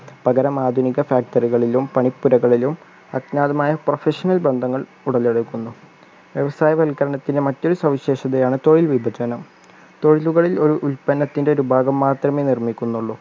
പകരം ആധുനിക factory കളിലും പണിക്കിടകളിലും അജ്ഞാതമായ professional ബന്ധങ്ങൾ ഉടലെടുക്കുന്നു വ്യവസായ വൽക്കരണത്തിൻ്റെ മറ്റൊരു സവിശേഷതയാണ് തൊഴിൽ വിഭജനം തൊഴിലുകളിൽ ഉൽ ഉൽപന്നത്തിൻ്റെ ഒരു ഭാഗം മാത്രമെ നിർമ്മിക്കുന്നുള്ളു